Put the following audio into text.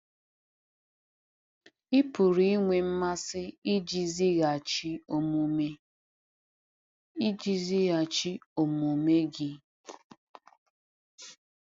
Ị pụrụ inwe mmasị iji zighachi omume iji zighachi omume gị.